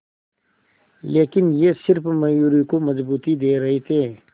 लेकिन ये सिर्फ मयूरी को मजबूती दे रहे थे